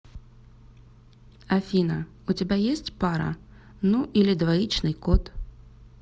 афина у тебя есть пара ну или двоичный код